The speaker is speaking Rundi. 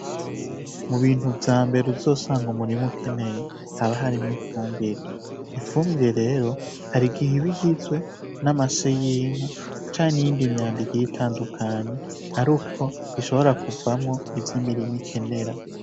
Mu bintu vya mbere uzosanga umurima ukeneye haba harimwo ifumbire. Ifumbire rero hari igihe iba igizwe n'amase y'inka canke n'iyindi myanda igiye itandukanye aruko ishobora kuvamwo ivyo imirima ikenera.